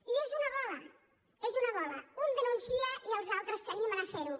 i és una bola és una bola un denuncia i els altres s’animen a fer ho